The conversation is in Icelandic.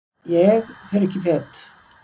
Ég fer ekki fet.